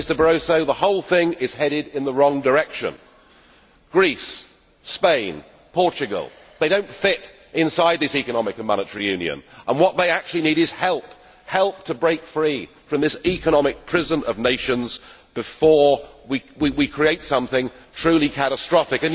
Mr Barroso, the whole thing is headed in the wrong direction. Greece, Spain, Portugal they do not fit inside this economic and monetary union, and what they actually need is help help to break free from this economic prison of nations before we create something truly catastrophic.